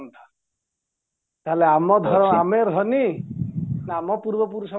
ତାହାଲେ ଆମ ଆମେ ଧନୀ ନା ଆମ ପୂର୍ବ ପୁରୁଷ